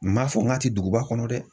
N m'a fɔ n ka ti duguba kɔnɔ dɛ!